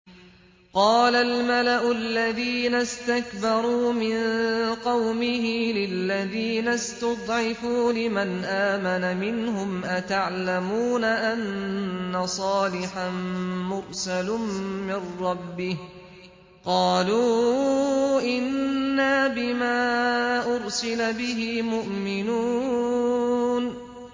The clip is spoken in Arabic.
قَالَ الْمَلَأُ الَّذِينَ اسْتَكْبَرُوا مِن قَوْمِهِ لِلَّذِينَ اسْتُضْعِفُوا لِمَنْ آمَنَ مِنْهُمْ أَتَعْلَمُونَ أَنَّ صَالِحًا مُّرْسَلٌ مِّن رَّبِّهِ ۚ قَالُوا إِنَّا بِمَا أُرْسِلَ بِهِ مُؤْمِنُونَ